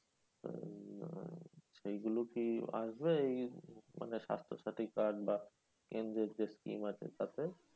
উম সেগুলো কি মানে আসবে এই স্বাস্থ সাথী card বা কেন্দ্রের যে scheme আছে তাতে?